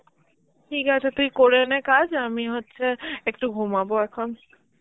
ঠিক আছে তুই করে নে কাজ, আমি হচ্ছে একটু ঘুমাবো এখন.